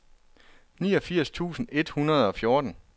niogfirs tusind et hundrede og fjorten